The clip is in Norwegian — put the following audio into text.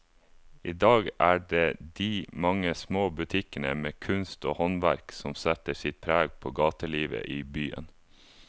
I dag er det de mange små butikkene med kunst og håndverk som setter sitt preg på gatelivet i byen.